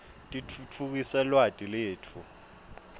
titfutfukisa lwati letfu